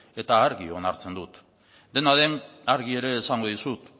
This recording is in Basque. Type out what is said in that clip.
eta argi onartzen dut dena den argi ere esango dizut